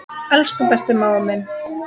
Elsku besti mágur minn.